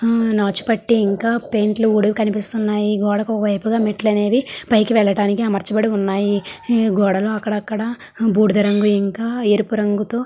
హమ్ నాచు పట్టి ఇంకా పెయింట్ లు కూడా కనిపిసిఉన్నాయి. గోడకి ఒక వైపు గ మెట్లు అనేవి పైకి వెళ్ళడానికి అమర్చబడి ఉన్నాయి. గోడలో అకాడకదా బూడిద రంగు ఇంకా ఎరుపు రంగుతో --.